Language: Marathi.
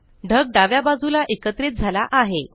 ढग डाव्या बाजूला एकत्रित झाला आहे